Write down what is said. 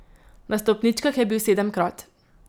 Na stopničkah je bil sedemkrat.